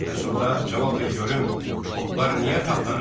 Bəs onda cavab ver görüm, otlar niyə tapdanıb?